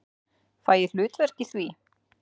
Fæ ég hlutverk í því?